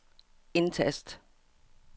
indtast